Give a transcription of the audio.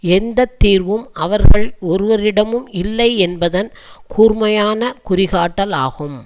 எந்த தீர்வும் அவர்கள் ஒருவரிடமும் இல்லை என்பதன் கூர்மையான குறிகாட்டல் ஆகும்